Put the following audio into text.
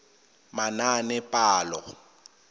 manaanepalo